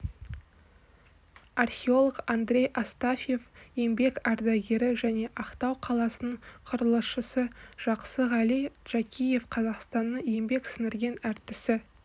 археолог андрей астафьев еңбек ардагері және ақтау қаласының құрылысшысы жақсығали джакиев қазақстанның еңбек сіңірген әртісі